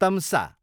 तम्सा